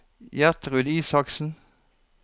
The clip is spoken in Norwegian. Gjertrud Isaksen